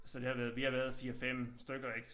Så det har været vi har været 4 5 stykker ik